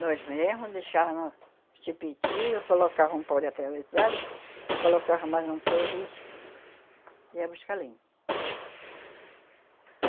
Nós mesmas deixávamos no, colocava um pau de atravessado e colocava mais um peso e ia buscar lenha.